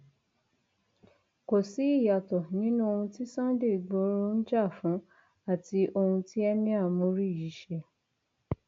kò sí ìyàtọ nínú ohun tí sunday igboro ń jà fún àti ohun tí emir muri yìí ṣe